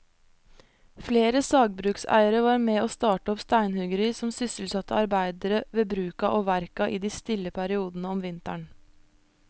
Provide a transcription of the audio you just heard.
Flere sagbrukseiere var med å starte opp steinhuggeri som sysselsatte arbeidere ved bruka og verka i de stille periodene om vinteren.